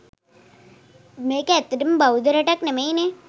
මේක ඇත්තටම බෞද්ධ රටක් නෙමෙයිනේ.